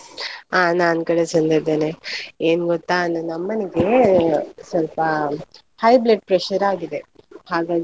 ಅಹ್ ನಾನು ಕೂಡ ಚೆಂದ ಇದ್ದೇನೆ, ಏನ್ ಗೊತ್ತಾ ನನ್ನ ಅಮ್ಮನಿಗೆ ಸ್ವಲ್ಪ, high blood pressure ಆಗಿದೆ ಹಾಗಾಗಿ.